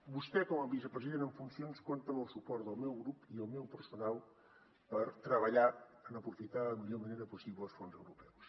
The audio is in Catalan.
vostè com a vicepresident en funcions compta amb el suport del meu grup i el meu personal per treballar en aprofitar de la millor manera possible els fons europeus